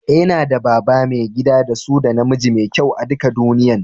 Eh, n'na da baba, maigida da su da na miji mafi kyau a'dukan duniyyan.